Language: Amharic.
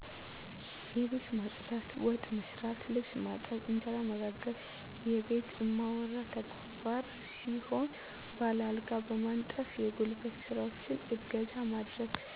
የቤት ማፅዳት፣ ወጥ መሥራት፣ ልብስ ማጠብ፣ እንጀራ መጋገር የቤቱ እማወራ ተግባር ሲሆን ባል አልጋ በማንጠፍ የጉልበት ስራዎችን እገዛ ማድረግ